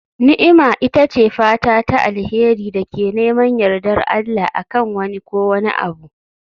Ni'ima ita ce fata ta alheri da ke neman yardar Allah, a kan wani ko wani abu.